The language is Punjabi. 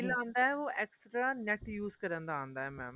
bill ਆਂਦਾ ਉਹ extra NET use ਕਰਨ ਦਾ ਆਂਦਾ mam